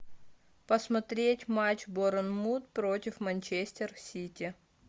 посмотреть матч борнмут против манчестер сити